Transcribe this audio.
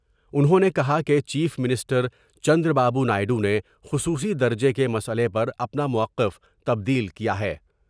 انہوں نے کہا کہ چیف منسٹر چندر بابو نائیڈو نے خصوصی درجے کے مسئلے پر اپنا موقف تبدیل کیا ہے ۔